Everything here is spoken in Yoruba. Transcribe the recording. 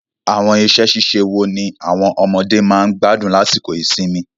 Àwọn iṣẹ́-ṣíṣe wo ni àwọn ọmọdé máa ń gbádùn lásìkò ìsinmi?